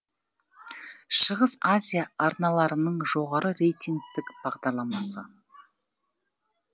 шығыс азия арналарының жоғары рейтингтік бағдарламасы